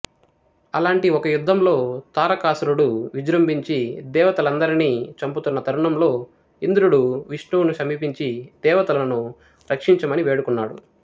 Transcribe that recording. అలాంటి ఒక యుద్ధంలో తారకాసురుడు విజృంభించి దేవతలనందరినీ చంపుతున్న తరుణంలో ఇంద్రుడు విష్ణువును సమీపించి దేవతలకు రక్షంచమని వేడుకున్నాడు